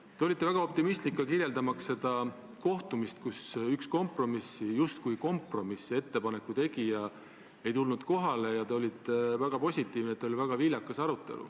Te olite väga optimistlik ka kirjeldades seda kohtumist, kuhu üks justkui kompromissettepaneku tegija kohale ei tulnud, ja olite väga positiivne, et arutelu oli viljakas.